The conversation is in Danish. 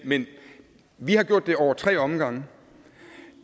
men vi har gjort det over tre omgange